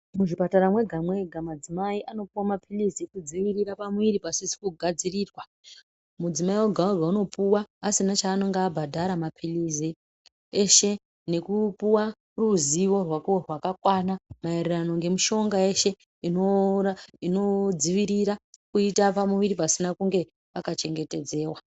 Muzvipatara mwega mwega madzimai anopiwa mapirizi ekudziirira pamuviri pasina kugadzirirwa ,mudzimai wega wega anopiwa asina chaanenge abhadhara mapilizi eshe ne kuunopuwa neruzivo rwako rwakakwana maererano nemushonga yeshe maererano nekudzivirira pamuviri panenge pasina kunge paka chengetedziwa.